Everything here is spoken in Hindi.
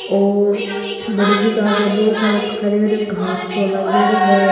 और बढ़ बी के आगे बोहोत सारो हरे हरे घास सो लागेडो है।